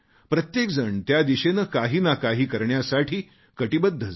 प्रत्येक जण त्या दिशेने काही ना काही करण्यासाठी कटिबद्ध झाला